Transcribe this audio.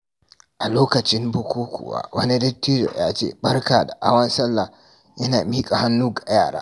A lokacin bukukkuwa, wani dattijo ya ce, "Barka da hawan sallah" yana miƙa hannu ga yara.